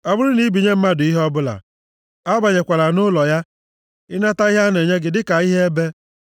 Ọ bụrụ na i binye mmadụ ihe ọbụla, abanyekwala nʼụlọ ya ịnata ihe a na-enye gị dị ka ihe ebe.